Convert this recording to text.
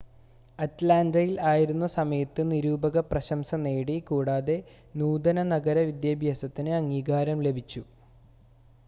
അറ്റ്ലാൻ്റയിൽ ആയിരുന്ന സമയത്ത് നിരൂപക പ്രശംസ നേടി കൂടാതെ നൂതന നഗര വിദ്യാഭ്യാസത്തിന് അംഗീകാരം ലഭിച്ചു